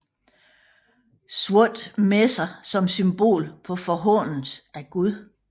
Sorte messer som symbol på forhånelse af Gud